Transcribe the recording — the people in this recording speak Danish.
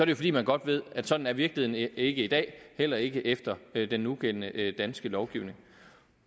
jo fordi man godt ved at sådan er virkeligheden ikke i dag heller ikke efter den nugældende danske lovgivning